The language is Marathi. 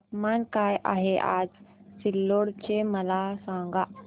तापमान काय आहे आज सिल्लोड चे मला सांगा